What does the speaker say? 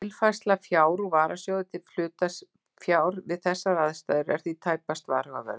Tilfærsla fjár úr varasjóði til hlutafjár við þessar aðstæður er því tæpast varhugaverður.